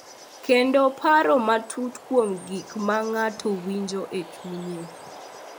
Kendo paro matut kuom gik ma ng’ato winjo e chunye.